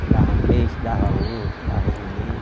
Que dava meio, se dava um, se dava um e meio...